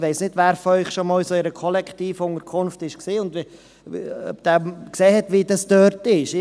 – Ich weiss nicht, wer von Ihnen schon einmal in einer Kollektivunterkunft war und sah, wie es dort ist.